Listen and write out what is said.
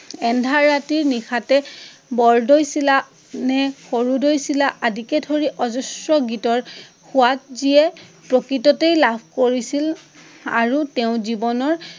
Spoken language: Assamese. এন্ধাৰ ৰাতি নিশাতে বৰদৈচিলা নে সৰুদৈচিলা আদিকে ধৰি অজস্ৰ গীতৰ সোৱাদ যিয়ে প্ৰকৃততে লাভ কৰিছিল আৰু তেওঁ জীৱনৰ